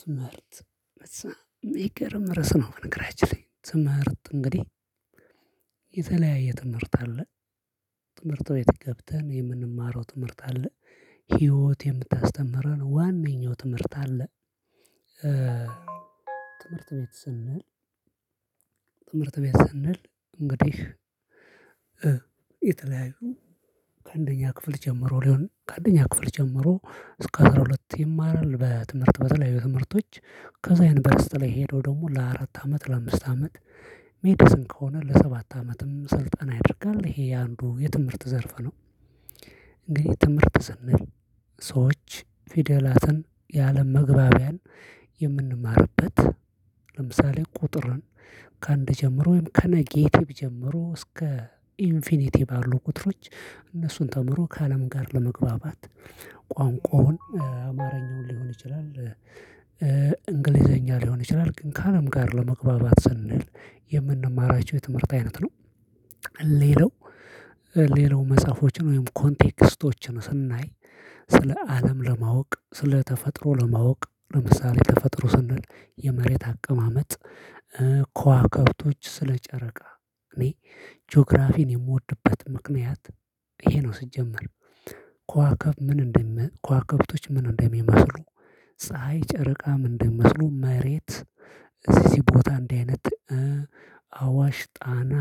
ትምህርት የሚገርም ርዕስ ነው በነገራችን ላይ ትምህርት እንግዲህ የተለያየ ትምህርት አለ ትምህርት ቤት ገብተን የምንማረው ትምህርት አለ ህይወት የምታስተምረን ዋነኛው ትምህርት አለ ትምህርት ቤት ስንል ትምህርት ቤት ስንል እንግዲህ የተለያዩ ከአንደኛ ክፍል ጀምሮ ሊሆን ከአንደኛ ክፍል ጀምሮ እስከ አስራ ሁለት ይማራል በትምህርት በተለያዩ ትምህርቶች ከዛ ይሄን ዩንቨርስቲ ላይ ሄደው ደግሞ ለአራት አመት ለአምስት አመት ሜዲስን ከሆነ ለሰባት አመትም ስልጠና ያደርጋል ይሄ የአንዱ የትምህርት ዘርፍ ነው እንግዲህ ትምህርት ስንል ሰዎች ፊደላትን የአለም መግባቢያን የምንማርበት ለምሳሌ ቁጥርን ከአንድ ጀምሮ ወይም ከኔጌቲቭ ጀምሮ እስከ ኢንፊኒቲ ባሉ ቁጥሮች እነሱን ተምሮ ከአለም ጋር ለመግባባት ቋንቋውን አማርኛውን ሊሆን ይችላል እንግሊዘኛ ሊሆን ይችላል ግን ከአለም ጋር ለመግባባት ስንል የምንማራቸው የትምህርት አይነት ነው ሌላው ሌላው መጽሐፎችን ወይም ኮንቴክስቶችን ስናይ ስለ አለም ለማወቅ ስለ ተፈጥሮ ለማወቅ ለምሳሌ ተፈጥሮ ስንል የመሬት አቀማመጥ ከዋክብቶች ስለ ጨረቃ እኔ ጂኦግራፊን የምወድበት ምክንያት ይሄ ነው ሲጀምር ከዋክብቶች ምን እንደም ከዋክብቶች ምን እንደሚመስሉ ፀሀይ ጨረቃ ምን እንደሚመስሉ መሬት እዚ እዚ ቦታ እንዲህ አይነት አዋሽ ጣና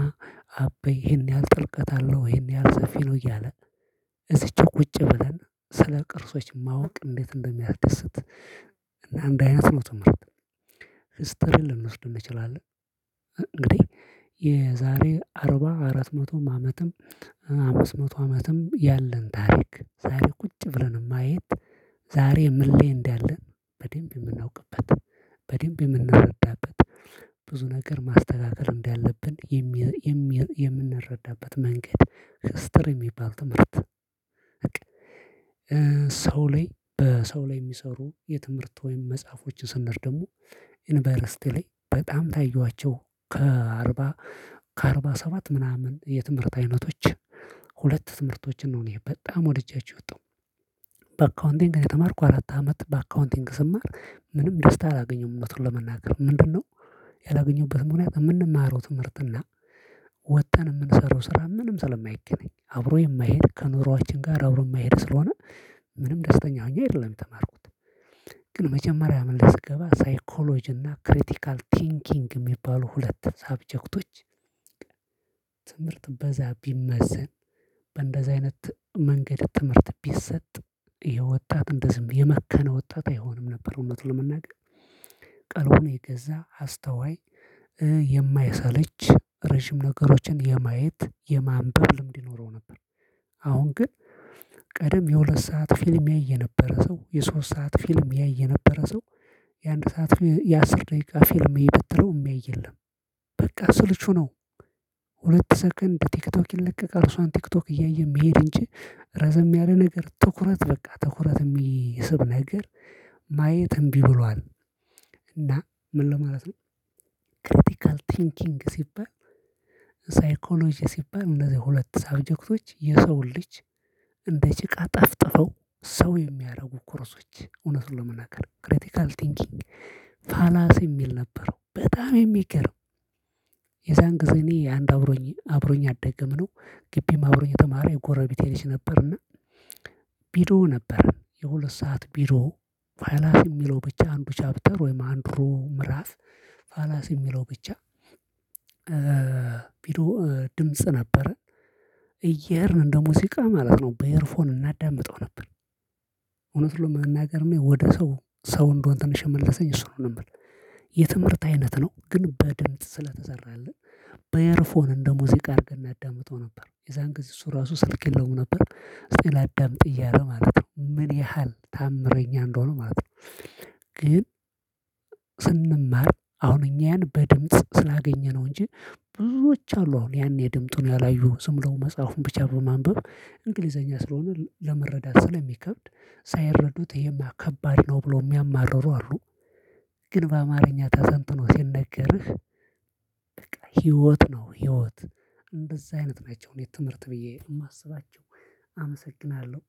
አባይ ይሄን ያህል ጥልቀት አለው ይሄን ያህል ሰፊ ነው እያለ እዚች ቁጭ ብለን ስለ ቅርሶች ማወቅ እንዴት እንደሚያድስት እና እንዲህ አይነት ነው ትምህርት ማስተር ልንወስድ እንችላለን እንግዲህ የዛሬ አርባ አራት መቶ አመትም አመስ መቶ አመትም ያለን ታሪክ ዛሬ ቁጭ ብለን ማየት ዛሬ ምን ላይ እዳለን በደንብ የምናውቅበት በደንብ የምንረዳበት ብዙ ነገር ማስተካከል እንዳለብን የምንረዳበት መንገድ ስትር የሚባል ትምህርት በቃ ሰው ላይ በሰው ላይ የሚሰሩ የትምህርት ወይም መጽሐፎችን ስንመርጥ ደግሞ ዩኒቨርሲቲ ላይ በጣም ካየኋቸው ከአርባ ከአርባ ሰባት ምናምን የትምህርት አይነቶች ሁለት ትምህርቶችን ነው እኔ በጣም ወደቻችሁ የወጣሁ። በአካውንቲንግ ነው የተማርኩ። አራት አመት በአካውንቲንግ ስማር ምንም ደስታ አላገኘሁም እውነቱን ለመናገር። ምንድነው ያላገኘሁበት ምክንያት የምንማረው ትምህርትና ወጥተን የምንሰራው ስራ ምንም ስለማይገናኝ። አብሮ የማይሄድ ከኑሮአችን ጋር አብሮ የማይሄድ ስለሆነ ምንም ደስተኛ ሁኜ አይደለም የተማርኩት። ግን መጀመሪያ አመት ስገባ ሳይኮሎጂ እና ክሪቲካል ቲንኪንግ የሚባሉ ሁለት ሳብጀክቶች ትምህርት በዛ ቢመዘን በእንደዛ አይነት መንገድ ትምህርት ቢሰጥ ይህ ወጣት እንደዚህም የመከነ ወጣት አይሆንም ነበር እውነት ለመናገር። ቀልቡን የገዛ፣ አስተዋይ፣ የማይሰለች፣ ረጅም ነገሮችን የማየት የማንበብ ልምድ ይኖረው ነበር። አሁን ግን ቀደም የሁለት ሰዓት ፊልም ያይ የነበረ ሰው፣ የሶስት ሰዓት ፊልም ያይ የነበረ ሰው፣ የአንድ ሰዓት የአስር ደቂቃ ፊልም እይ ብትለው የሚያይ የለም። በቃ ስልቹ ነው። ሁለት ሰከንድ ቲክቶክ ይለቀቃል። እሷን ቲክቶክ እያየ የሚሄድ እንጂ ረዘም ያለ ነገር ትኩረት በቃ ትኩረት የሚስብ ነገር ማየት እምቢ ብሏል እና ምን ለማለት ነው ክሪቲካል ቲንኪንግ ሲባል ሳይኮሎጂ ሲባል እነዚህ ሁለት ሳብጀክቶች የሰውን ልጅ እንደ ጭቃ ጠፍጥፈው ሰው የሚያደርጉ ኮርሶች እውነት ለመናገር ክሪቲካል ቲንኪንግ ፋላሲ የሚል ነበረው በጣም የሚገርም የዛን ጊዜ እኔ አንድ አብሮኝ አብሮኝ ያደገም ነው ግቢም አብሮኝ የተማረ የጎረቤቴ ልጅ ነበርና ቪድዮ ነበር። የሁለት ሰዓት ቪድዮ ፋላሲ የሚለው ብቻ አንዱ ቻፕተር ወይም አንዱ ምዕራፍ ፋላሲ የሚለው ብቻ ቪድዮ ድምጽ ነበረ። እየሄድን እንደ ሙዚቃ ማለት ነው በኤርፎን እናዳምጠው ነበር። እውነቱን ለመናገር እኔ ወደ ሰው ሰው እንድሆን ትንሽ የመለሰኝ እሱ ነበር። የትምህርት አይነት ነው ግን በድምጽ ስለተሰራልን በኤርፎን እንደ ሙዚቃ አድርገን እናዳምጠው ነበር። የዛን ጊዜ እሱ ራሱ ስልክ የለውም ነበር። እስኪ ላዳምጥ እያለ ማለት ነው። ምን ያህል ተአምረኛ እንደሆነ ማለት ነው። ግን ስንማር አሁን እኛን በድምጽ ስላገኘነው እንጂ ብዙዎች አሉ አሁን ያኔ ድምፁን ያላዩ። ዝምብለው መጽሐፉን ብቻ በማንበብ እንግሊዘኛ ስለሆነ ለመረዳት ስለሚከብድ ሳይረዱት ይሄማ ከባድ ነው ብሎ የሚያማርሩ አሉ። ግን በአማርኛ ተተንትኖ ሲነገርህ በቃ ህይወት ነው ህይወት። እንደዛ አይነት ናቸው እኔ ትምህርት ብዬ የማስባቸው። አመሰግናለው።